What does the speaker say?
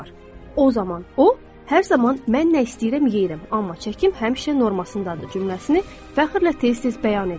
O zaman o, hər zaman mən nə istəyirəm yeyirəm, amma çəkim həmişə normasındadır cümləsini fəxrlə tez-tez bəyan edir.